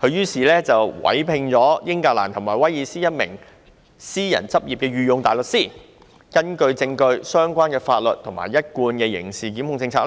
他於是委聘英格蘭及威爾斯一名私人執業的御用大律師，根據證據、相關的法律和一貫的刑事檢控政策，